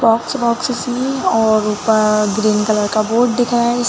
Box वॉक्स और ऊपर ग्रीन कलर का बोर्ड दिख रहा हैं ।